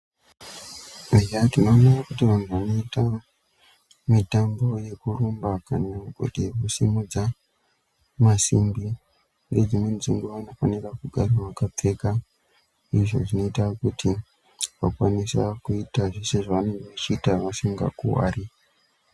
Eya tinoone kuti vanhu vanoita mitambo yekurumba kana kuti kusimudza masimbi, nedzimweni dzenguva vanofanira kugara vakapfeka izvo zvinoita kuti vakwanise kuita zveshe zvavanenge vachiita vasingakuvari.